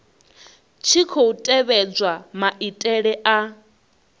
tshi khou tevhedzwa maitele a